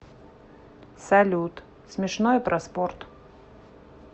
салют смешное про спорт